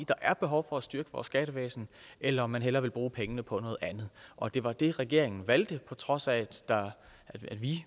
der er behov for at styrke vores skattevæsen eller om man hellere vil bruge pengene på noget andet og det var det regeringen valgte på trods af at vi